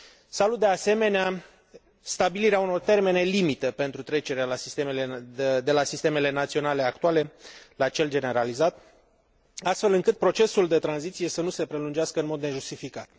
Salut, de asemenea, stabilirea unor termene limită pentru trecerea de la sistemele naționale actuale la cel generalizat, astfel încât procesul de tranziție să nu se prelungească în mod nejustificat.